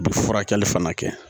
U bɛ furakɛli fana kɛ